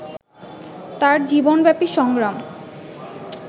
তাঁর জীবনব্যাপী সংগ্রাম